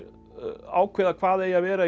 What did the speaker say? ákveða hvað eigi að vera í